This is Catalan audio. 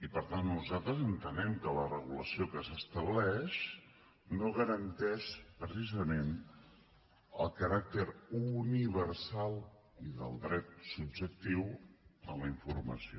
per tant nosaltres entenem que la regulació que s’estableix no garanteix precisament el caràcter universal i del dret subjectiu en la informació